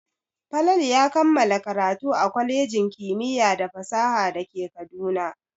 Falalu ya kammala karatu a kwalejin kimiyya da fasaha da ke Kaduna.